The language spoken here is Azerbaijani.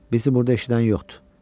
Bizi burada eşidən yoxdur.